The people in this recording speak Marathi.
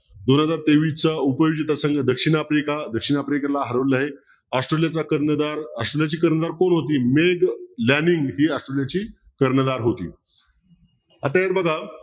दोन हजार तेवीस चा उपयोजित संघ दक्षिण आफ्रिका दक्षिण आफ्रिकेला हरवलं ऑस्ट्रेलियाचा कर्णदार आस्ट्रियाची कर्णदार कोण होती ही ऑस्ट्रेलियाची कर्णदार होती आता हे बघा